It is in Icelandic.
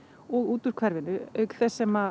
og út úr hverfinu auk þess sem